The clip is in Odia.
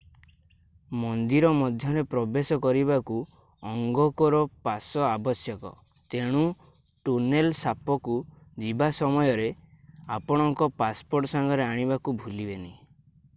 ମନ୍ଦିର ମଧ୍ୟରେ ପ୍ରବେଶ କରିବାକୁ ଅଙ୍ଗକୋର ପାସ ଆବଶ୍ୟକ ତେଣୁ ଟୋନେଲ ସାପକୁ ଯିବା ସମୟରେ ଆପଣଙ୍କର ପାସପୋର୍ଟ ସାଙ୍ଗରେ ଆଣିବାକୁ ଭୁଲିବେନି